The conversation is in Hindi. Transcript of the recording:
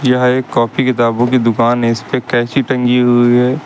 यह एक कॉपी किताबों की दुकान है इस पे कैंची टंगी हुई है।